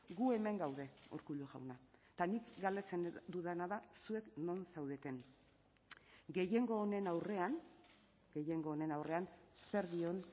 gu hemen gaude urkullu jauna eta nik galdetzen dudana da zuek non zaudeten gehiengo honen aurrean gehiengo honen aurrean zer dion